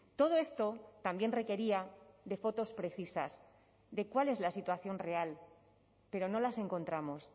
todo esto también requería de fotos precisas de cuál es la situación real pero no las encontramos